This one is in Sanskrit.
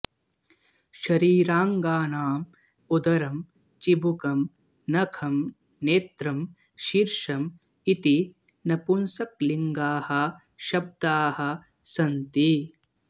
शरीराङ्गानां उदरम् चिबुकम् नखम् नेत्रेम् शीर्षम् इति नपुंसकलिङ्गाः शब्दाः सन्ति